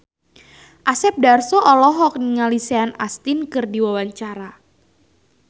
Asep Darso olohok ningali Sean Astin keur diwawancara